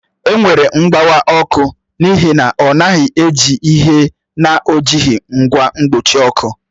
Enwere mgbawa ọkụ n'ihi na ọ naghị eji ihe na ọ jighị ngwa mkpuchi ọkụ